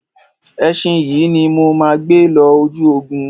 Ẹṣin yìí ni mo máa gbé lọ ojú ogun.